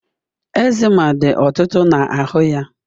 Eczema dị ọtụtụ na ahụ ya